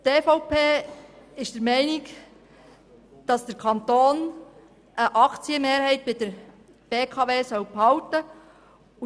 Die EVP ist der Meinung, dass der Kanton eine Aktienmehrheit bei der Beteiligung behalten soll.